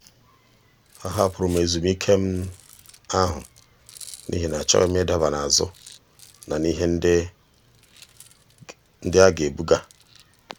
a hapụrụ m ezumike ahụ n'ihi na achọghị m ịdaba n'azụ na ihe ndị a ga-ebuga.